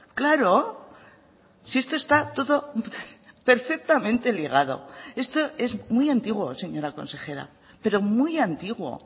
claro si esto está todo perfectamente ligado esto es muy antiguo señora consejera pero muy antiguo